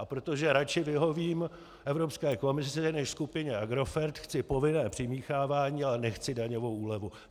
A protože radši vyhovím Evropské komisi než skupině Agrofert, chci povinné přimíchávání, ale nechci daňovou úlevu.